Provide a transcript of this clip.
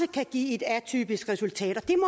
kan give et atypisk resultat